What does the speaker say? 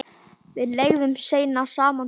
Við leigðum seinna saman íbúð.